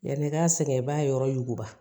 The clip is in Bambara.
Yani i ka sɛgɛn i b'a yɔrɔ yuguba